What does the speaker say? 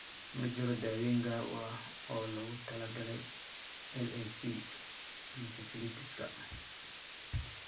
Ma jiro daawayn gaar ah oo loogu talagalay LAC encephalitiska .